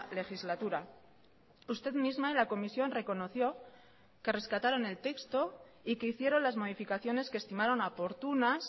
legislatura usted misma en la comisión reconoció que rescataron el texto y que hicieron las modificaciones que estimaron oportunas